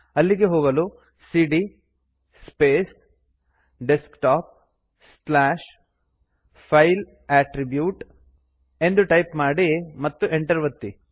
ಅಲ್ಲಿಗೆ ಹೋಗಲು ಸಿಡಿಯ space desktop slash file attribute ಎಂದು ಟೈಪ್ ಮಾಡಿ ಮತ್ತು ಎಂಟರ್ ಒತ್ತಿ